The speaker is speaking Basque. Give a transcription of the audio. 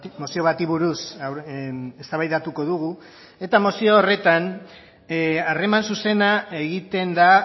mozio bati buruz eztabaidatuko dugu eta mozio horretan harreman zuzena egiten da